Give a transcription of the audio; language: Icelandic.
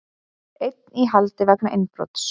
Einn í haldi vegna innbrots